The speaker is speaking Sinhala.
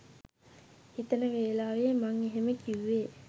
හිතන වෙලාවේ මං එහෙම කිව්වේ